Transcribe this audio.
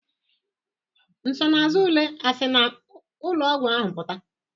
Nsonaazụ ule a si na ụlọọgwụ ahụ pụta?